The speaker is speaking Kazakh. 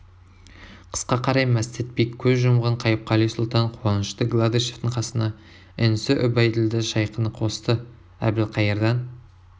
қысқа қарай мәстәт би көз жұмған қайыпқали сұлтан қуанышты гладышевтың қасына інісі үбәйділда шайқыны қосты әбілқайырдан